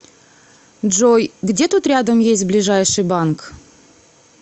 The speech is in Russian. джой где тут рядом есть ближайший банк